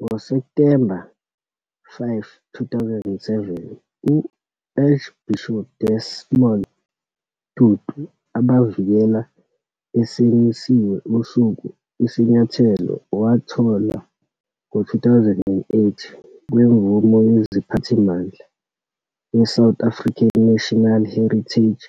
Ngo-September 5, 2007, uArchbishop Desmond Tutu abavikela esimisiwe usuku. Isinyathelo wathola ngo-2008 kwemvume yeziphathimandla we-South African National Heritage